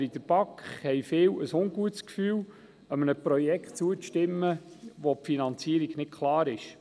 Aber in der BaK haben viele ein ungutes Gefühl, einem Projekt zuzustimmen, dessen Finanzierung nicht klar ist.